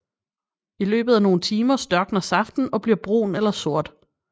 I løbet af nogle timer størkner saften og bliver brun eller sort